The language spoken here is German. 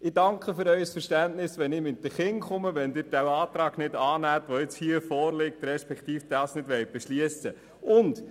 Ich danke für Ihr Verständnis, wenn ich mit meinen Kindern komme, wenn Sie den Antrag, der hier vorliegt nicht annehmen respektive nicht beschliessen wollen.